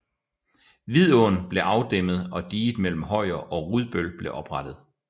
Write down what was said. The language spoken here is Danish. Vidåen blev afdæmmet og diget mellem Højer og Rudbøl blev oprettet